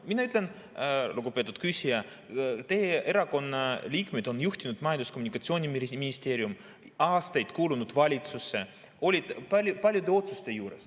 Mina ütlen, lugupeetud küsija, teie erakonna liikmed on juhtinud Majandus‑ ja Kommunikatsiooniministeeriumi, aastaid kuulunud valitsusse, olid paljude otsuste juures.